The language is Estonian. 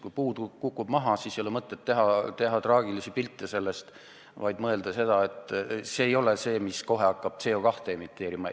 Kui puu kukub maha, siis ei ole mõtet sellest traagilisi pilte teha ja mõelda, et see hakkab kohe CO2 emiteerima.